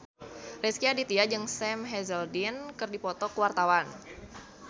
Rezky Aditya jeung Sam Hazeldine keur dipoto ku wartawan